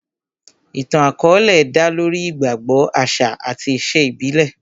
Ìtàn àkọ́ọ́lẹ̀ dá lórí ìgbàgbọ, àṣà àti ìṣe ìbílẹ̀